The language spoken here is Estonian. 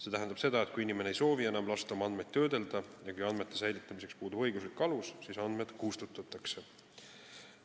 See tähendab, et kui inimene ei soovi enam lasta oma andmeid töödelda ja kui andmete säilitamiseks puudub õiguslik alus, siis andmed kustutatakse.